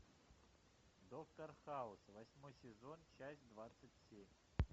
доктор хаус восьмой сезон часть двадцать семь